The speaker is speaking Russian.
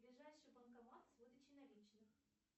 ближайший банкомат с выдачей наличных